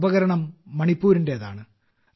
ഈ ഉപകരണം മണിപ്പൂരിന്റേതാണ്